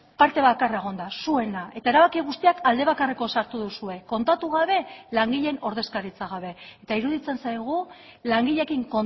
parte bakarra egon da zuena eta erabaki guztiak alde bakarreko sartu duzue kontatu gabe langileen ordezkaritza gabe eta iruditzen zaigu langileekin